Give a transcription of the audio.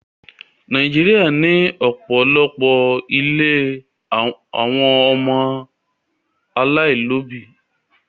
Nàìjíríà ní òpòlopo ílé àwọn ọmọ alailòbí